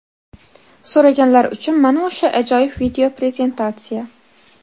So‘raganlar uchun mana o‘sha ajoyib video prezentatsiya.